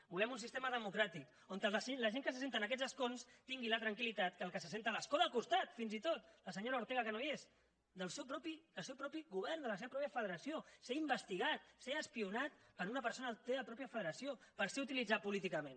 volem un sistema democràtic on la gent que s’asseu en aquests escons tingui la tranquil·litat que el que s’asseu a l’escó del costat fins i tot la senyora ortega que no hi és del seu propi govern de la seva pròpia federació ser investigat ser espiat per una persona de la teva pròpia federació per ser utilitzat políticament